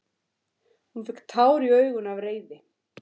Hún fékk tár í augun af reiði.